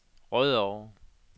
Rødovre